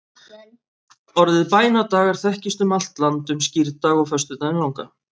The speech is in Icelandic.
orðið bænadagar þekkist um allt land um skírdag og föstudaginn langa